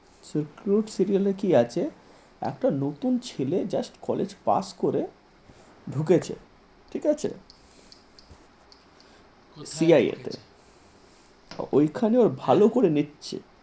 Recruit serial কি আছে? একটা নতুন ছেলে just college পাস করে ঢুকেছে ঠিক আছে cia তে ওইখানেও ভালো করে নিচ্ছে